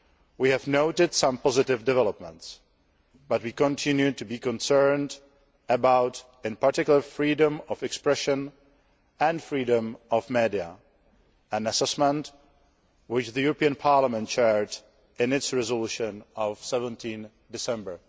We have noted some positive developments but we continue to be concerned in particular about freedom of expression and freedom of media, an assessment which the European Parliament shared in its resolution of 17 December